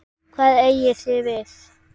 Hvað eigið þið við?